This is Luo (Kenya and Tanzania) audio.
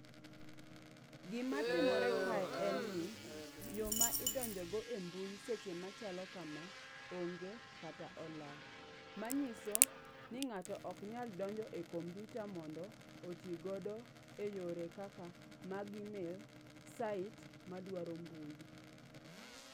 Gima tim ore kae en ni yo ma idonjo go e mbui seche machalo kama, onge kata olal. Manyiso ni ng'ato ok nyal donjo e kompiuta mondo oti godo eyore kaka mag email, site madwaro mbui.